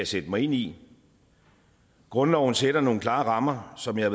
sætte mig ind i grundloven sætter nogle klare rammer som jeg